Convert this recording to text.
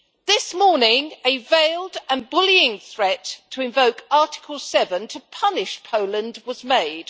This morning a veiled and bullying threat to invoke Article 7, to punish Poland, was made.